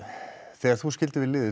þegar þú skildir við liðið